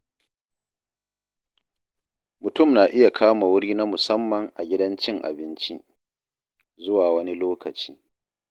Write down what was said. Mutum na iya kama wuri na musamman a gidan cin abinci, zuwa wani lokaci.